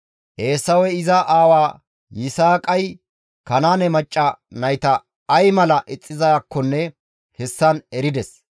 Eesawey iza aawa Yisaaqay Kanaane macca nayta ay mala ixxizaakkonne hessan erides.